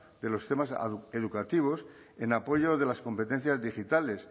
de los sistemas educativos en apoyo de las competencias digitales